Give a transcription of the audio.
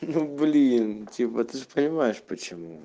ну блин типа ты же понимаешь почему